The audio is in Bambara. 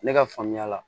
Ne ka faamuya la